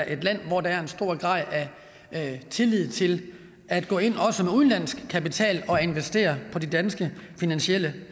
et land hvor der er en stor grad af tillid til at gå ind også med udenlandsk kapital og investere på de danske finansielle